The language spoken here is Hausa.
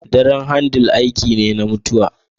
Daren kandle aiki ne na mutuwa.